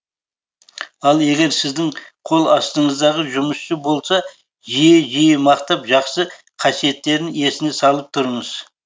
ал егер сіздің қол астыңыздағы жұмысшы болса жиі жиі мақтап жақсы қасиеттерін есіне салып тұрыңыз